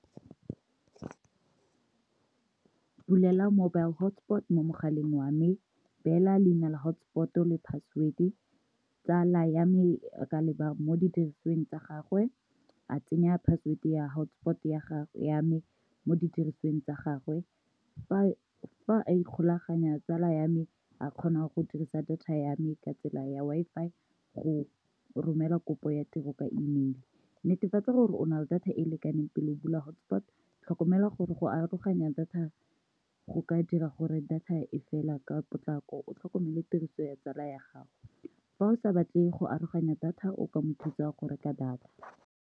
Bulela mobile hotspot mo mogaleng wame, bela leina la hotspot-o le password, tsala yame a ka leba mo di dirisweng tsa gagwe a tsenya password ya hotspot ya me mo di dirisweng tsa gagwe, fa a ikgolaganya tsala ya me a kgonang go dirisa data ya me ka tsela ya Wi-Fi go romela kopo ya tiro ka imile netefatsa gore o na le data e lekaneng pele bula hotspot, tlhokomela gore go aroganya data go ka dira gore data e fela ka potlako o tlhokomela tiriso ya tsala ya gago, fa o sa batle go aroganya data o ka mothusa go reka data.